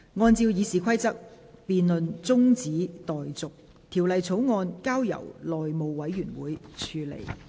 按照《議事規則》，辯論中止待續，條例草案交由內務委員會處理。